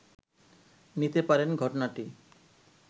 নিতে পারেন ঘটনাটি